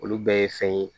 Olu bɛɛ ye fɛn ye